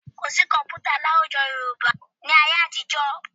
Kò sí kọ̀m̀pútà ní àwùjọ Yorùbá ní ayé àtijọ́